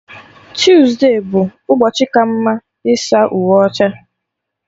Tuesde bụ ụbọchị ka mma ịsa uwe ọcha